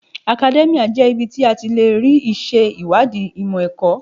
Akadẹ́míà jẹ́ ibi tí a ti lè rí ìṣe ìwádìí ìmọ̀ ẹ̀kọ́.